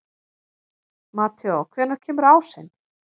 Mateó, hvenær kemur ásinn?